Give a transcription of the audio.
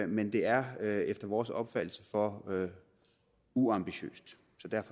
men det er er efter vores opfattelse for uambitiøst